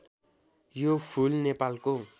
यो फूल नेपालको